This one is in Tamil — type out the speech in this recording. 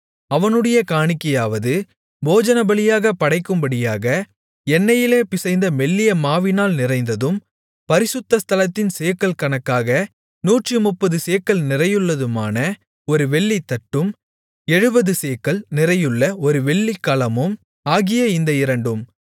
அவனுடைய காணிக்கையாவது போஜனபலியாகப் படைக்கும்படியாக எண்ணெயிலே பிசைந்த மெல்லிய மாவினால் நிறைந்ததும் பரிசுத்த ஸ்தலத்தின் சேக்கல் கணக்காக நூற்றுமுப்பது சேக்கல் நிறையுள்ளதுமான ஒரு வெள்ளித்தட்டும் எழுபது சேக்கல் நிறையுள்ள ஒரு வெள்ளிகலமும் ஆகிய இந்த இரண்டும்